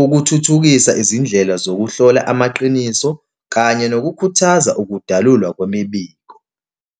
ukuthuthukisa izindlela zokuhlola amaqiniso kanye nokukhuthaza ukudalulwa kwemibiko.